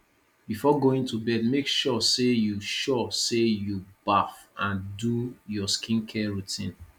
before going to bed make sure say you sure say you baff and do your skin care routine